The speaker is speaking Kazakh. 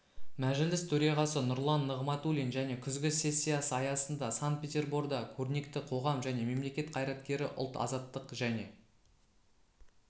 мәжіліс төрағасы нұрлан нығматулин және күзгі сессиясы аясында сан-петерборда көрнекті қоғам және мемлекет қайраткері ұлт-азаттық және